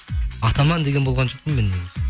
атаман деген болған жоқпын мен негізі